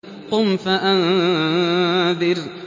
قُمْ فَأَنذِرْ